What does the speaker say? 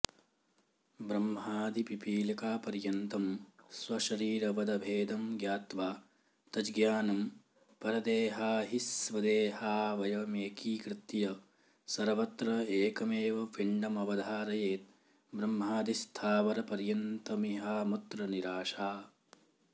ब्रह्मादिपिपीलिकापर्यन्तं स्वशरीरवदभेदं ज्ञात्वा तज्ज्ञानं परदेहाहिस्वदेहावयमेकीकृत्य सर्वत्र एकमेव पिण्डमवधारयेत् ब्रह्मादिस्थावरपर्यन्तमिहामुत्र निराशा